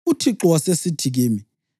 UThixo wasesithi kimi,